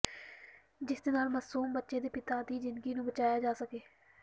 ਜਿਸਦੇ ਨਾਲ ਮਾਸੂਮ ਬੱਚੇ ਦੇ ਪਿਤਾ ਦੀ ਜਿੰਦਗੀ ਨੂੰ ਬਚਾਇਆ ਜਾ ਸਕੇ